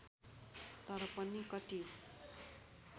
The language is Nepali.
तर पनि कति